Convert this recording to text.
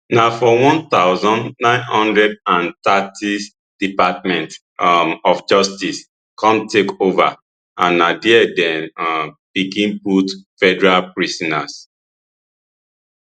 na for one thousand, nine hundred and thirtys department um of justice come take over and na dia dem um begin put federal prisoners